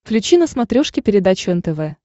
включи на смотрешке передачу нтв